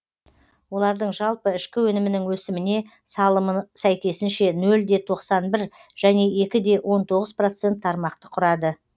олардың жалпы ішкі өнімінің өсіміне салымы сәйкесінше ноль де тоқсан бір және екі де он тоғыз процент тармақты құрады